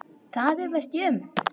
Það efast ég um.